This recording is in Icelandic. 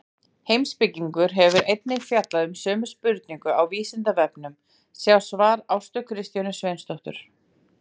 Heimspekingur hefur einnig fjallað um sömu spurningu á Vísindavefnum, sjá svar Ástu Kristjönu Sveinsdóttur.